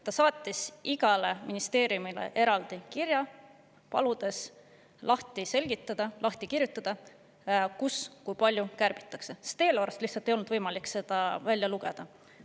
Ta saatis igale ministeeriumile eraldi kirja, paludes lahti kirjutada, kus kui palju kärbitakse, sest eelarvest lihtsalt ei olnud võimalik seda välja lugeda.